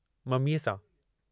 ममीअ सां!